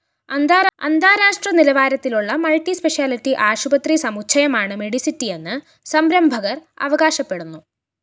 അന്താരാഷ്ട്ര നിലവാരത്തിലുള്ള മള്‍ട്ടിസ്പെഷാലിറ്റി ആശുപത്രി സമുച്ചയമാണ്‌ മെഡിസിറ്റിയെന്ന്‌ സംരംഭകര്‍ അവകാശപ്പെടുന്നു